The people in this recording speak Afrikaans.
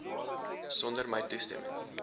sonder my toestemming